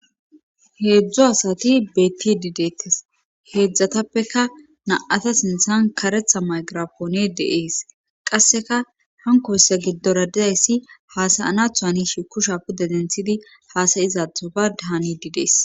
Heedzdzu asti beettidi deetes heedzdzatappeka na77ata sinthan karetha maykirapooney de7ees qasseka hankkoyssa giddora de7izayssi haasa7anaatho hanishe kushiya pude denthidi haasa7izaatho baadda haniiddi des